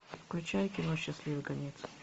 включай кино счастливый конец